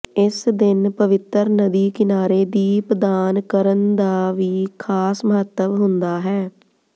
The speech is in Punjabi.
ਇਸ ਦਿਨ ਪਵਿੱਤਰ ਨਦੀ ਕਿਨਾਰੇ ਦੀਪਦਾਨ ਕਰਨ ਦਾ ਵੀ ਖ਼ਾਸ ਮਹੱਤਵ ਹੁੰਦਾ ਹੈ